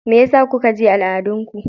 Mai yasa kun guje al'adun ku?